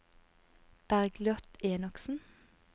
Bergliot Enoksen